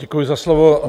Děkuji za slovo.